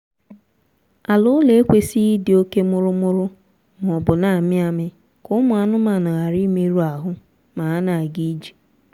ala ụlọ ekwesịghị ịdị oke mụrụmụrụ maọbụ na-amị amị ka ụmụ anụmaanụ ghara imerụ ahụ ma ha na-ga ije